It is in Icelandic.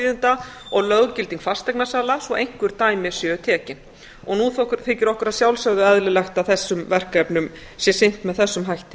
skjalaþýðenda og löggilding fasteignasala svo einhver dæmi séu tekin nú þykir okkur að sjálfsögðu eðlilegt að þessum verkefnum sé sinnt með þessum hætti